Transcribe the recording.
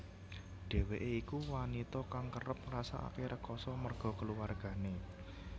Dheweké iku wanita kang kerep ngrasake rekasa merga keluwargané